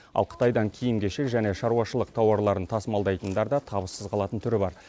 ал қытайдан киім кешек және шаруашылық тауарларын тасымалдайтындар да табыссыз қалатын түрі бар